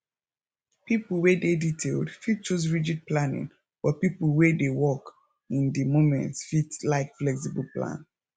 pipo wey dey detailed fit choose rigid planning but pipo wey dey work in di moment fit like flexible plan